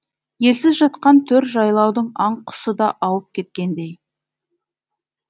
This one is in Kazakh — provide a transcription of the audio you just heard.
елсіз жатқан төр жайлаудың аң құсы да ауып кеткендей